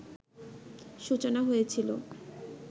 সূচনা হয়েছিল